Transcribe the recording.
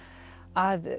að